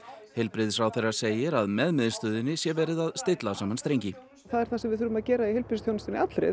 heilbrigðisráðherra segir að með miðstöðinni sé verið að stilla saman strengi það er það sem við þurfum að gera í heilbrigðisþjónustunni allri